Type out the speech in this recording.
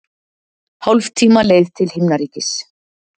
Hálftíma leið til himnaríkis.